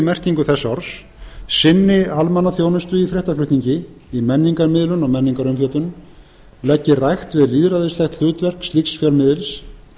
merkingu þess orðs sinni almannaþjónustu í fréttaflutningi í menningarmiðlun og menningarumfjöllun leggi rækt við lýðræðislegt hlutverk slíks fjölmiðils